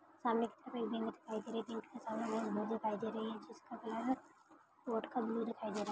सामने एक बिल्डिंग दिखाई दे रही है। बिल्डिंग के सामने एक बोर्ड दिखाई दे रही है। जिसका कलर बोर्ड का ब्लू दिखाई दे रहा।